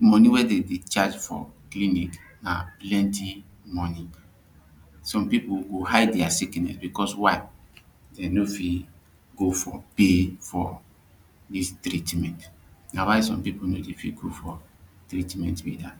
money wey dem fit charge for clinik na plenty money some people go hide dia sickness becos why dem no fit go for pay for dis treatment na why some people no dey fit go for treatment becos dat